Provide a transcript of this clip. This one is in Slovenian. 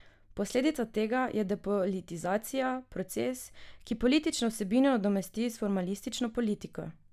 Posledica tega je depolitizacija, proces, ki politično vsebino nadomesti s formalistično politiko.